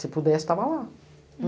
Se pudesse, estava lá.